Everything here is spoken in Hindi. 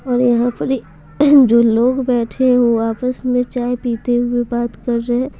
और यहाँ पर जो लोग बैठे हैं वो आपस में चाय पीते हुए बात कर रहे हैं।